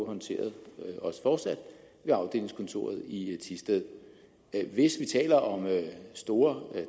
håndteret ved afdelingskontoret i thisted hvis vi taler om store